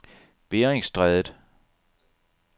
Beringstrædet